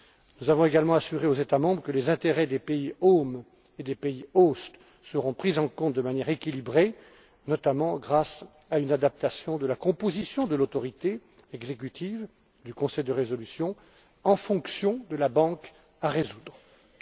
Nous avons également assuré aux États membres que les intérêts des pays home et des pays host seront pris en compte de manière équilibrée, notamment grâce à une adaptation de la composition de l'autorité exécutive du conseil de résolution en fonction de la banque à renflouer.